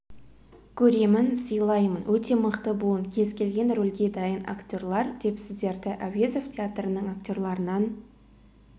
көремін сыйлаймын өте мықты буын кез келген рөлге дайын актерлар деп сіздерді әуезов театрының актерларынан